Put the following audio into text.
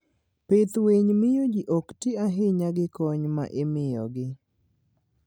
Pidh winy miyo ji ok ti ahinya gi kony ma imiyogi.